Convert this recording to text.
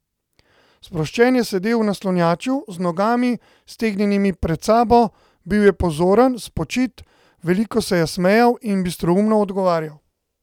Sproščen je sedel v naslanjaču, z nogami, stegnjenimi pred sabo, bil je pozoren, spočit, veliko se je smejal in bistroumno odgovarjal.